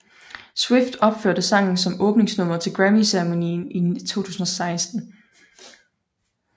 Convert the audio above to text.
Swift opførte sangen som åbningsnummeret til Grammyceremonien i 2016